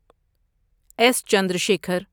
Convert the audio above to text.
S Chandrashekhar